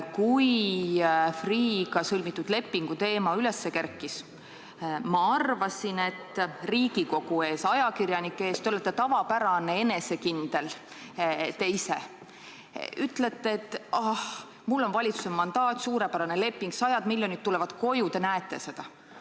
Kui Freeh'ga sõlmitud lepingu teema üles kerkis, ma arvasin, et Riigikogu ees ja ajakirjanike eest te olete tavapäraselt enesekindel, te ütlete, et ah, mul on valitsuse mandaat, see on suurepärane leping, sajad miljonid tulevad koju, küll te näete seda.